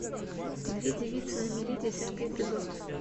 две девицы на мели десятый эпизод